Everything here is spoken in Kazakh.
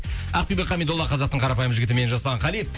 ақбиби камидолла қазақтың қарапайым жігітімен жасұлан кали